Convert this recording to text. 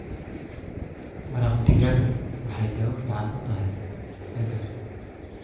Maraq digaagu waxay daawo fiican u tahay hargabka.